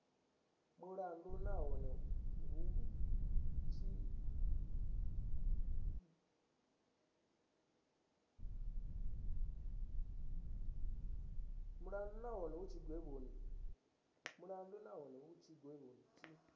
mulandu nahone hu tshigwevho tshi